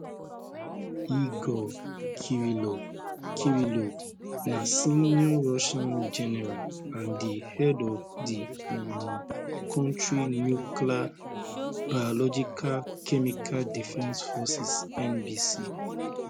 igor kirillov kirillov na senior russian general and di head of di um kontri nuclear biological chemical defence forces nbc